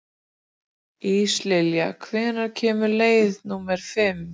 Íslilja, hvenær kemur leið númer fimm?